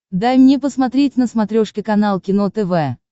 дай мне посмотреть на смотрешке канал кино тв